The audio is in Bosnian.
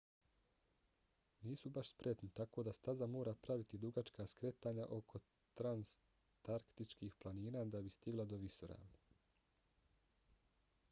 nisu baš spretni tako da staza mora praviti dugačka skretanja oko transantarktičkih planina da bi stigla do visoravni